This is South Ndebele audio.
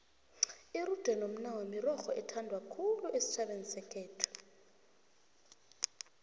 irude nomnawa mirorho ethandwa khulu esitjhabeni sekhethu